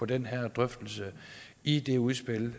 den her drøftelse i det udspil